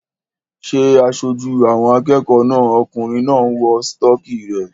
Ṣé aṣojú àwọn akẹ́kọ̀ọ́ náà okùnrin náà ń wọ sítọ́kì rẹ̀?